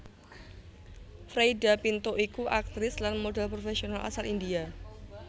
Freida Pinto iku aktris lan modhèl profèsional asal India